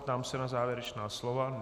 Ptám se na závěrečná slova.